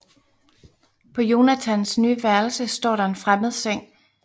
På Jonathans nye værelse står der en fremmed seng